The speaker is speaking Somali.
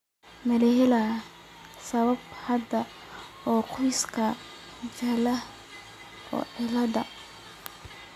Ma la helay sabab hidde ah oo qoyska jaalaha ah cilladda?